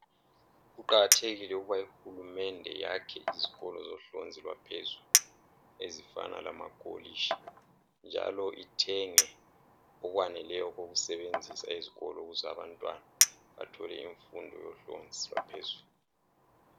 kuqhakathekile ukuthi uhulumende iyakhe izikolo zemfundo yaphezulu ezifana lamakolitshi njalo ithengwe okwaneleyo ukusetshenziswa yizikolo zabantwana bathole imfundo yohlonzu yaphezulu